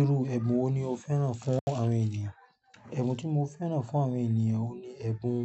Irú ẹ̀bùn wo ni o fẹ́ràn fún àwọn ènìyàn? Ẹ̀bùn tí mo fẹ́ràn fún àwọn ènìyàn oun ni ẹ̀bùn